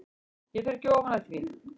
Ég fer ekki ofan af því.